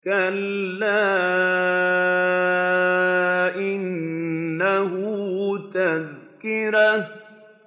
كَلَّا إِنَّهُ تَذْكِرَةٌ